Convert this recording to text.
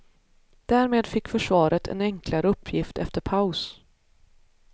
Därmed fick försvaret en enklare uppgift efter paus.